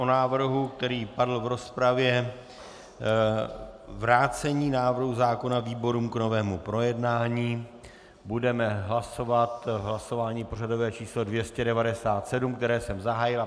O návrhu, který padl v rozpravě - vrácení návrhu zákona výborům k novému projednání, budeme hlasovat v hlasování pořadové číslo 297, které jsem zahájil.